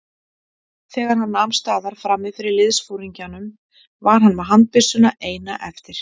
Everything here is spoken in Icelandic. Þegar hann nam staðar frammi fyrir liðsforingjanum var hann með handbyssuna eina eftir.